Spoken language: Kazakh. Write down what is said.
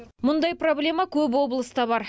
мұндай проблема көп облыста бар